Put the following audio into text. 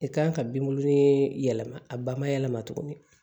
I kan ka binkuru in yɛlɛma a ba ma yɛlɛma tuguni